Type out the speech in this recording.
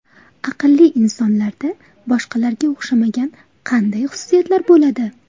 Aqlli insonlarda boshqalarga o‘xshamagan qanday xususiyatlar bo‘ladi?